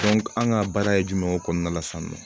an ka baara ye jumɛn o kɔnɔna la sisan nɔ